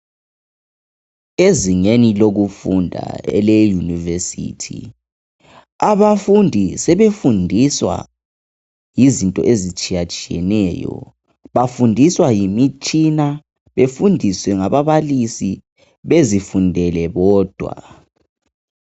Ezingeni lokufunda ele university abafundi sebefundiswa izinto ezitshiya tshiyeneyo bayafundiswa ngemitshina befundiswe ngababalisi bezifundele bodwa.